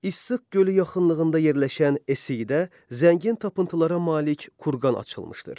Issıq gölü yaxınlığında yerləşən esiyidə zəngin tapıntılara malik kurqan açılmışdır.